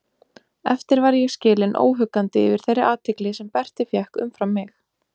Eftir var ég skilinn óhuggandi yfir þeirri athygli sem Berti fékk umfram mig.